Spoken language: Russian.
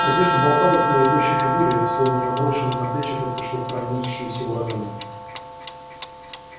одежда болталась на его тощей фигуре словно наброшенная на плечи только что пронёсшимся ураганом